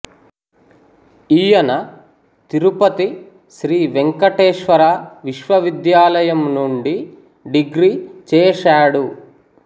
ఈయన తిరుపతి శ్రీ వెంకటేశ్వర విశ్వవిద్యాలయం నుండి డిగ్రీ చేశాడు